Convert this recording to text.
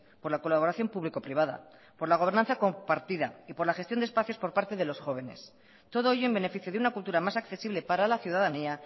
por la colaboración público privada por la gobernanza compartida y por la gestión de espacios por parte de los jóvenes todo ello en beneficio de una cultura más accesible para la ciudadanía